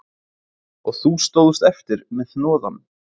Og þú stóðst eftir með hnoðann